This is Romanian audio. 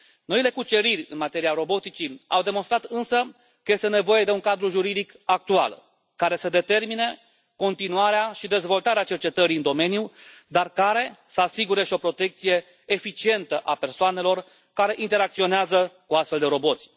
Noile cuceriri în materia roboticii au demonstrat însă că este nevoie de un cadru juridic actual care să determine continuarea și dezvoltarea cercetării în domeniu, dar care să asigure și o protecție eficientă persoanelor care interacționează cu astfel de roboți.